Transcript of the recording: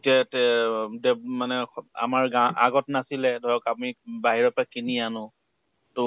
এতিয়া তে দেব মানে আমাৰ গা আগত নাছিলে, ধৰক আমি বাহিৰৰ পৰা কিনি আনো । তʼ